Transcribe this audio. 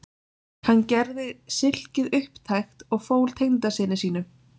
Hann gerði silkið upptækt og fól tengdasyni sínum